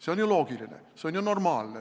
See on ju loogiline, see on ju normaalne.